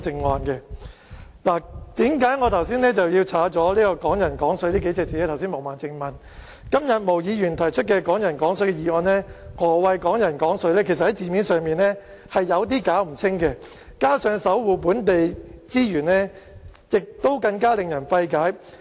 毛孟靜議員剛才問，為何我刪除"港人港水"數個字，今天毛議員提出"港人港水"的議案，何謂"港人港水"其實在字面上已經有點不清不楚，加上"守護本地資源"更令人費解。